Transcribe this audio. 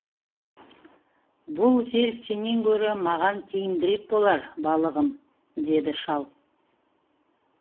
бұл жел сенен гөрі маған тиімдірек болар балығым деді шал